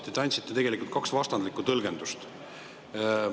Te andsite tegelikult kaks vastandlikku tõlgendust.